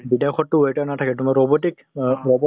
বিদেশতটো waiter নাথাকে তোমাৰ robotic । অ robot ৰ